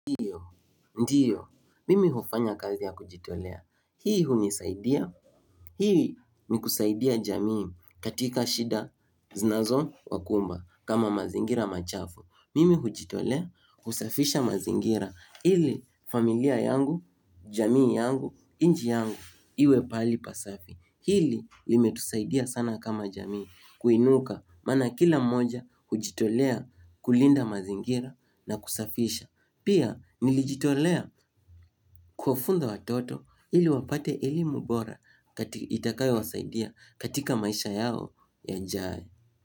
Ndio, ndio, mimi hufanya kazi ya kujitolea. Hii hunisaidia, hii ni kusaidia jamii katika shida zinazo wakumba kama mazingira machafu. Mimi hujitolea, husafisha mazingira, ili familia yangu, jamii yangu, nchi yangu, iwe pahali pasafi. Hili limetusaidia sana kama jamii, kuinuka, maana kila moja hujitolea kulinda mazingira na kusafisha. Pia nilijitolea kuwafunza watoto ili wapate elimu bora itakayowasaidia katika maisha yao yajayo.